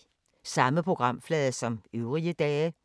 Samme programflade som øvrige dage